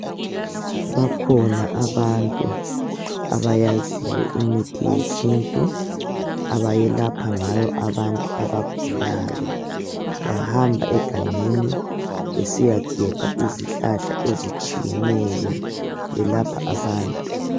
Bakhona abantu abayaziyo imithi yesintu abayelapha ngayo abantu abagulayo bahamba egangelni besiyagebha izihlahla ezitshiyeneyo, belapha abantu.